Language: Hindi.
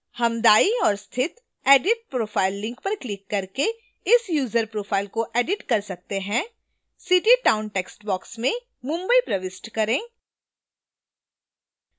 हम दायीं ओर स्थित edit profile link पर क्लिक करके इस यूजर profile को edit कर सकते हैं city/town टैक्स्टbox में mumbai प्रविष्ट करें